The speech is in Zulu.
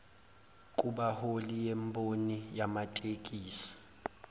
kubaholi bemboni yamatekisi